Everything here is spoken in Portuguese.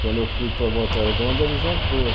Quando eu fui para Volta Redonda, ele já foi.